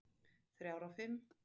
Þrjár af fimm.